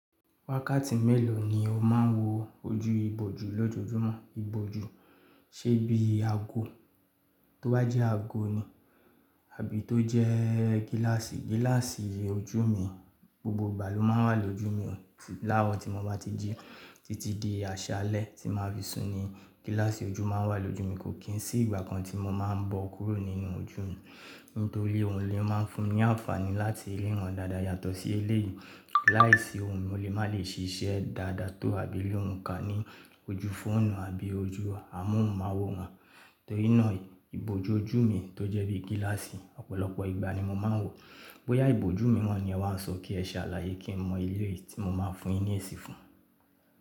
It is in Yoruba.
Wákàtí mélòó ni o máa ń wo ojú ìbòjú lójoojúmọ́? Ìbòjú, ṣe bí àgò, tó bá jẹ́ àgò ni, àbí tó jẹ́ gíláàsì. Gíláàsì ojú mi gbogbo ìgbà ló máa ń wà lójú mi láàrọ̀ tí mo bá ti jí títí di àṣálẹ́ tí màá fi sùn ni. Gíláàsì ojú máa ń wà lójú mi, kò kí n sí ìgbà kan tí mo máa ń bọ́ kúrò nínú ojú mi. Nítorí òun lè máa ń fún mi ní àǹfààní láti lè riràn dáadáa, yàtọ̀ sí eléyìí. Láìsí òun, mo lè má lè ṣiṣẹ́ dáadáa tó àbí lè wù ká ní ojú fóònù àbí ojú amóhùnmáwòrán. Torínà ìbòjú ojú mi tó jẹ́ bí gíláàsì, ọ̀pọ̀lọpọ̀ ìgbà ni mo máa ń wò ó. Bóyá ìbòjú mìíràn ni ẹ wá sọ kí ẹ ṣe àlàyé kí n mọ éléèyí tí mo máa fún yín ní èsì fún.